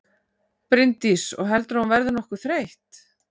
Bryndís: Og heldurðu að hún verði nokkuð þreytt?